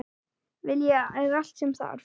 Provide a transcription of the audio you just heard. Vilji er allt sem þarf.